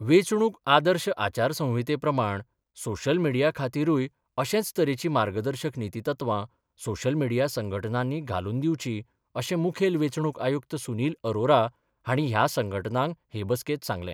वेचणूक आदर्श आचारसंहितेप्रमाण सोशियल मीडीयाखातीरूय अशेच तरेची मार्गदर्शक नितीतत्वा सोशियल मीडिया संघटनानी घालून दिवची अशे मुखेल वेचणूक आयुक्त सुनिल अरोरा हाणी ह्या संघटनांक हे बसकेत सांगले.